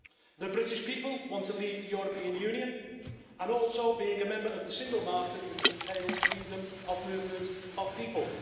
The British people want to leave the European Union and also cease being a member of the single market which entails freedom of movement of people.